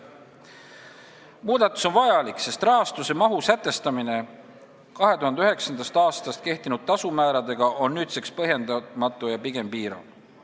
Muudatus on vajalik, sest rahastuse mahu sätestamine 2009. aastast kehtinud tasumääradega on nüüdseks põhjendamatu ja pigem piirav.